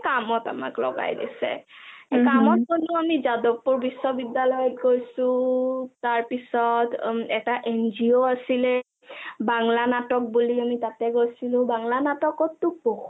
কামত আমাক লগাই দিছে কামত গ'লো আমি যাদৱপুৰ বিশ্বদ্যালয় গৈছো তাৰপিছত এটা NGO আছিলে বাংলা নাটক বুলি আমি তাতে গৈছিলো বাংলা নাটকতটো